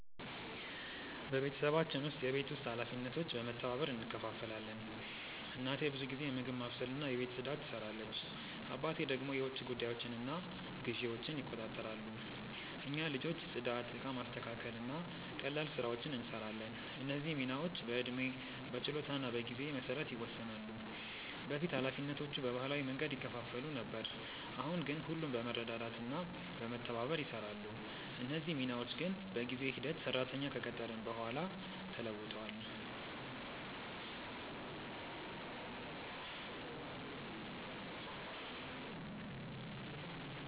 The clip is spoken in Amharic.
በቤተሰባችን ውስጥ የቤት ውስጥ ኃላፊነቶች በመተባበር እንከፋፈላለን። እናቴ ብዙ ጊዜ ምግብ ማብሰልና የቤት ፅዳት ትሰራለች፣ አባቴ ደግሞ የውጭ ጉዳዮችንና ግዢዎችን ይቆጣጠራሉ። እኛ ልጆች ጽዳት፣ እቃ ማስተካከል እና ቀላል ስራዎችን እንሰራለን። እነዚህ ሚናዎች በዕድሜ፣ በችሎታ እና በጊዜ መሰረት ይወሰናሉ። በፊት ኃላፊነቶቹ በባህላዊ መንገድ ይከፋፈሉ ነበር፣ አሁን ግን ሁሉም በመረዳዳት እና በመተባበር ይሰራሉ። እነዚህ ሚናዎች ግን በጊዜ ሂደት ሰራተኛ ከቀጠርን በኋላ ተለውጧል።